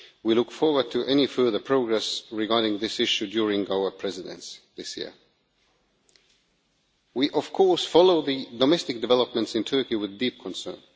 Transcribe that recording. We look forward to any further progress regarding this issue during our Presidency this year. We follow the domestic developments in Turkey with deep concern.